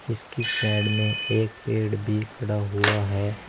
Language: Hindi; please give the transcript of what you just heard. इसकी साइड में एक पेड़ भी खड़ा हुआ है।